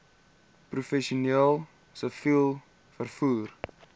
professioneel siviel vervoer